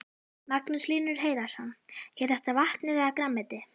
Magnús Hlynur Hreiðarsson: Er þetta vatnið eða grænmetið?